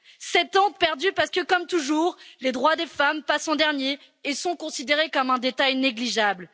Sept ans de perdus parce que, comme toujours, les droits des femmes passent en dernier et sont considérés comme un détail négligeable.